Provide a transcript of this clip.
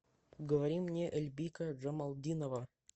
говори мне эльбика джамалдинова